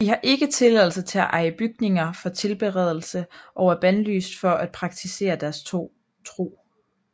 De har ikke tilladelse til at eje bygninger for tilbedelse og er bandlyst for at praktisere deres tro